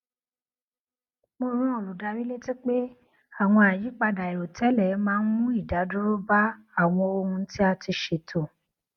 mo rán olùdarí létí pé àwọn àyípadà airotẹlẹ máa ń mu idaduro ba awọn ohun ti a ti ṣeto